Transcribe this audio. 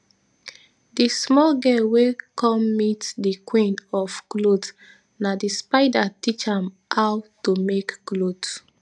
di small girl wey cum meat di queen of cloth na d spider teach am ow to make cloth